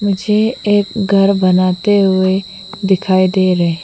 मुझे एक घर बनाते हुए दिखाई दे रहे --